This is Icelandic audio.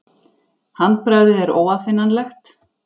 Handbragðið er óaðfinnanlegt.